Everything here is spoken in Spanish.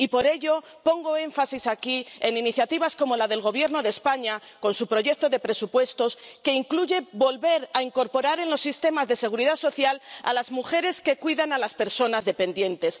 Y por ello, pongo énfasis aquí en iniciativas como la del Gobierno de España, con su proyecto de presupuestos, que incluye volver a incorporar en los sistemas de seguridad social a las mujeres que cuidan a las personas dependientes.